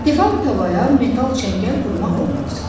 Tefal tavaya metal çəngəl vurmaq olmaz.